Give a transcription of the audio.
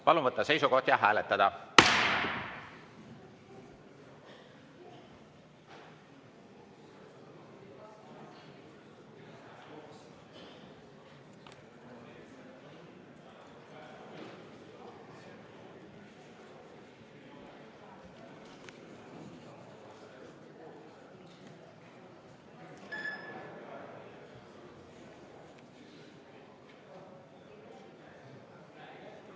Palun võtta seisukoht ja hääletada!